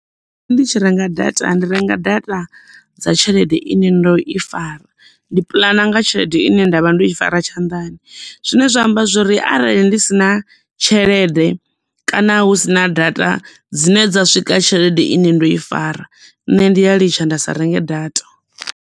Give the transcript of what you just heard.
Nṋe ndi tshi renga data ndi renga data dza tshelede ine ndo i fara ndi puḽana nga tshelede ine nda vha ndo i fara tshandani zwine zwa amba zwori arali ndi si na tshelede kana hu sina data dzine dza swika tshelede ine ndo i fara nṋe ndi ya litsha nda sa renge data.